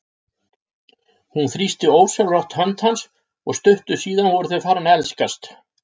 Hún þrýsti ósjálfrátt hönd hans og stuttu síðar voru þau farin að elskast.